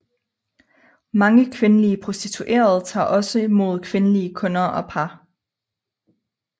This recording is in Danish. Mange kvindelige prostituerede tager også mod kvindelige kunder og par